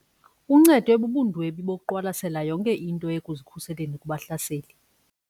Uncedwe bubundwebi bokuqwalasela yonke into ekuzikhuseleni kubahlaseli.